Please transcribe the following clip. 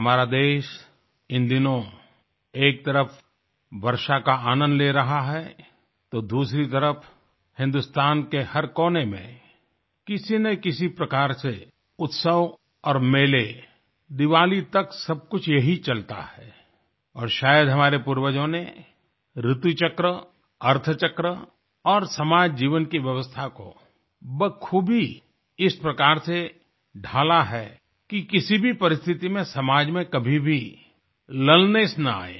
हमारा देश इन दिनों एक तरफ वर्षा का आनंद ले रहा है तो दूसरी तरफ हिंदुस्तान के हर कोने में किसी ना किसी प्रकार से उत्सव और मेले दीवाली तक सबकुछ यही चलता है और शायद हमारे पूर्वजों ने ऋतु चक्र अर्थ चक्र और समाज जीवन की व्यवस्था को बखूबी इस प्रकार से ढाला है कि किसी भी परिस्थिति में समाज में कभी भी लुलनेस ना आये